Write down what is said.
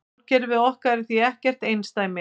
Sólkerfið okkar er því ekkert einsdæmi.